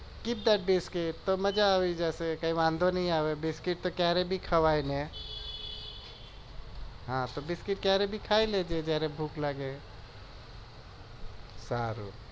પણ મજા આવી જશે બિસ્કીટ તો કયારે પણ ખવાઈ ને હા તો બિસ્કીટ ખાઈ લેજે ભૂખ લાગે સારું